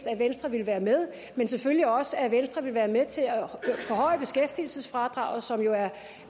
at venstre ville være med men selvfølgelig også for at venstre ville være med til at forhøje beskæftigelsesfradraget som jo